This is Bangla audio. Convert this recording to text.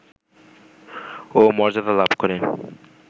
ও মর্যাদা লাভ করে